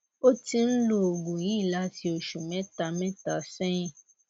ó ti ń lo oògùn yìí láti oṣù mẹta mẹta sẹyìn